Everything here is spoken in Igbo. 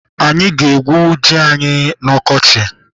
Anyị ga-egwú ji anyị na-ọkọchị.